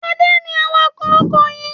Adé ni awakọ̀ ọkọ̀ yìí.